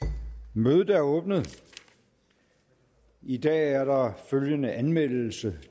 mødet er åbnet i dag er der følgende anmeldelse